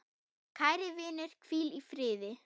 Kæri vinur, hvíl í friði.